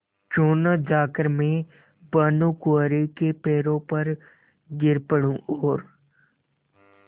क्यों न जाकर मैं भानुकुँवरि के पैरों पर गिर पड़ूँ और